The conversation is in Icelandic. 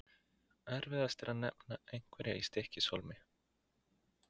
Erfiðast er að nefna einhverja í Stykkishólmi.